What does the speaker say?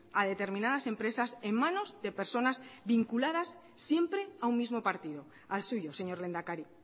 a determinadas empresas en manos de personas vinculadas siempre a un mismo partido al suyo señor lehendakari